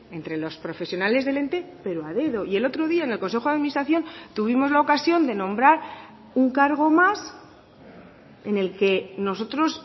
entre los profesionales del ente pero a dedo y el otro día en el consejo de administración tuvimos la ocasión de nombrar un cargo más en el que nosotros